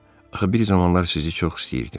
Axı bir zamanlar sizi çox istəyirdim.